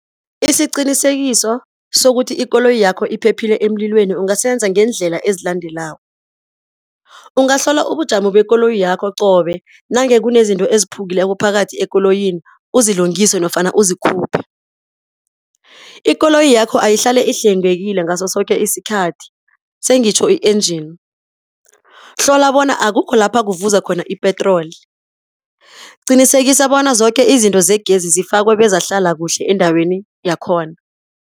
Isiqinisekiso sokuthi ikoloyi yakho iphephile emlilweni ungasenza ngeendlela ezilandelako, ungahlola ubujamo bekoloyi yakho qobe. Nange kunezinto eziphukileko phakathi ekoloyini, uzilungise nofana uzikhuphe. Ikoloyi yakho ayihlale ihlwengekile ngaso soke isikhathi, sengitjho i-engine. Hlola bona akukho lapha kuvuza khona i-petroli. Qinisekisa bona zoke izinto zegezi zifakwe bezahlala kuhle endaweni yakhona.